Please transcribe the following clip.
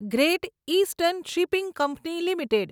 great eastern shipping company limited